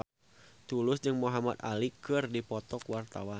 Tulus jeung Muhamad Ali keur dipoto ku wartawan